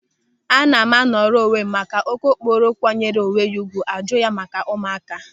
Ana m anọrọ onwe m maka na okokporo kwanyere onwe ya ùgwù a jụọ ya maka ụmụaka.